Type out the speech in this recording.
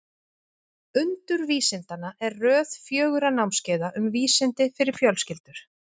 Undur vísindanna er röð fjögurra námskeiða um vísindi fyrir fjölskyldur.